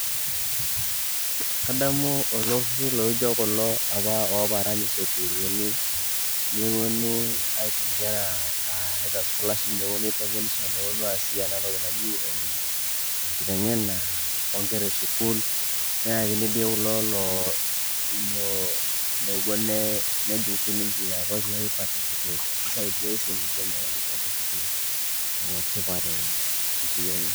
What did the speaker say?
kadamu iltururi loijio kulo apa oparan isukuluni neponu aisho inkera aa either scholarship, niponu aitengenisho neponu as si enatoki naji enkitengena onkera esukul, neyakini di kulo looo lopuo nee nejing sininche ajing ina toki aipaticipate, kake.